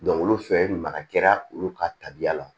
olu fɛ ye maga kɛra olu ka tabiya la